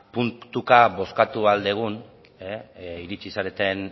puntuka bozkatu ahal dugun iritsi zareten